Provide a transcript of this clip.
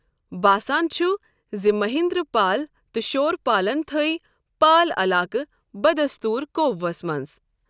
باسان چھٗ زِ مہیندر پال تٕہ شۄر پالن تٔھوۍ پال علاقہٕ بدستوٗر قوبوٗہس منز ۔